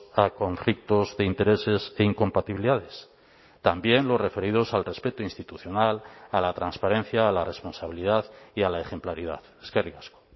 a conflictos de intereses e incompatibilidades también los referidos al respeto institucional a la transparencia a la responsabilidad y a la ejemplaridad eskerrik asko